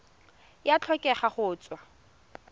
e a tlhokega go tswa